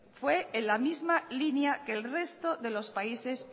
fue en la misma línea que el resto de los países